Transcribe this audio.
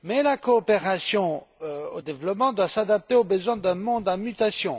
La coopération au développement doit s'adapter aux besoins d'un monde en mutation.